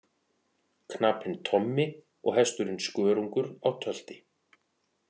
Knapinn Tommi og hesturinn Skörungur á tölti.